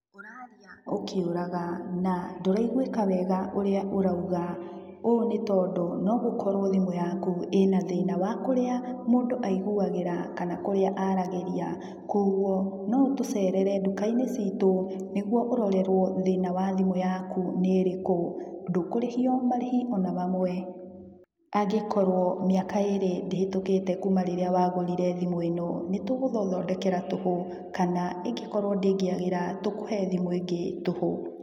Ũraria ũkĩũraga, na ndũraiguĩka wega ũrĩa ũrauga. Ũũ nĩtondũ no gũkorwo thimũ yaku ĩna thĩna wa kũrĩa mũndũ aiguagĩra kana kũrĩa aragĩria. Kuoguo, no ũtũcerere thĩiniĩ wa nduka-inĩ citũ nĩguo ũrorerwo thĩna wa thimũ yakũ nĩ ĩrĩkũ. Ndũkũrĩhio marĩhi ona mamwe angĩkorwo mĩaka ĩrĩ ndĩhĩtũkĩte kuma rĩrĩa wagũrire thimũ ĩno. Nĩtũgũgũthondekera tũhũ kana ĩngĩkorwo ndĩngĩagĩra, tũkũhe thimũ ĩngĩ tũhũ.